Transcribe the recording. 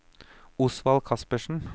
Osvald Kaspersen